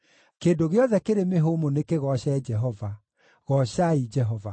Kĩndũ gĩothe kĩrĩ mĩhũmũ nĩkĩgooce Jehova. Goocai Jehova.